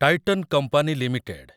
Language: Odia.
Titan company limited